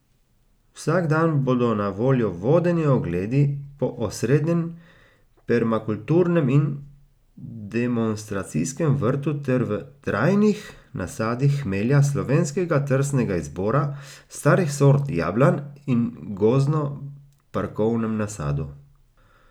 Vsak dan bodo na voljo vodeni ogledi po osrednjem, permakulturnem in demonstracijskem vrtu ter v trajnih nasadih hmelja, slovenskega trsnega izbora, starih sort jablan in v gozdno parkovnem nasadu.